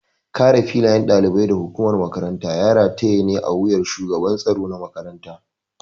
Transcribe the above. Kare lafiyar ɗalibai da hukumar makaranta ya rataya ne a wuyar shugaban tsaro na makaranta.